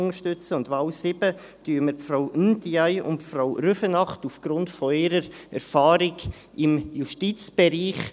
Bei der Wahl 7 unterstützen wir Frau Ndiaye und Frau Rüfenacht aufgrund ihrer Erfahrung im Justizbereich.